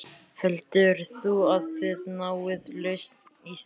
Heldur þú að þið náið lausn í því?